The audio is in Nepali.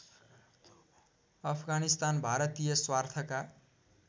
अफगानिस्तान भारतीय स्वार्थका